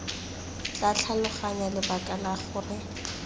tla tlhaloganya lebaka la gore